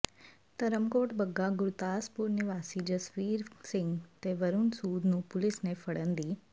ਧਰਮਕੋਟ ਬੱਗਾ ਗੁਰਦਾਸਪੁਰ ਨਿਵਾਸੀ ਜਸਵੀਰ ਸਿੰਘ ਤੇ ਵਰੁਣ ਸੂਦ ਨੂੰ ਪੁਲਿਸ ਨੇ ਫੜਨ ਦੀ